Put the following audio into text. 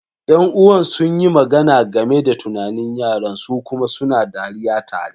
Yan'uwan sun yi magana game da tunanin yaran su kuma suna dariya tare.